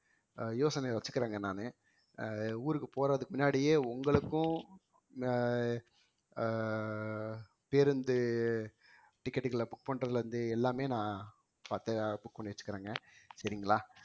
அஹ் யோசனைய வச்சிக்கிறங்க நானு அஹ் ஊருக்கு போறதுக்கு முன்னாடியே உங்களுக்கும் அஹ் அஹ் பேருந்து ticket களை book பண்றதுல இருந்து எல்லாமே நான் பார்த்து book பண்ணி வச்சிருக்குறேங்க சரிங்களா